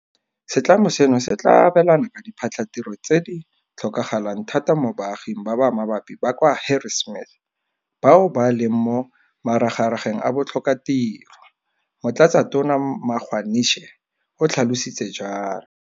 Setlamo seno se tla abelana ka diphatlhatiro tse di tlhokagalang thata mo baaging ba ba mabapi ba kwa Harrismith bao ba leng mo maragarageng a botlhokatiro, Motlatsatona Magwanishe o tlhalositse jalo.